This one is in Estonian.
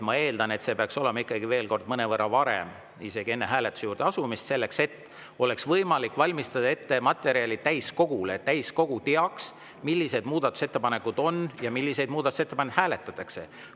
Ma eeldan, et see peaks olema ikkagi mõnevõrra varem, isegi enne hääletuse juurde asumist, selleks et oleks võimalik valmistada täiskogule materjalid ette, et täiskogu teaks, millised muudatusettepanekud on ja milliseid muudatusettepanekuid hääletatakse.